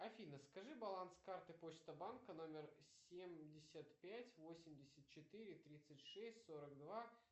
афина скажи баланс карты почта банка номер семьдесят пять восемьдесят четыре тридцать шесть сорок два